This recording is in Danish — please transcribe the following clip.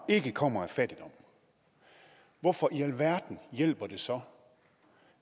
ikke kommer af fattigdom hvorfor i alverden hjælper det så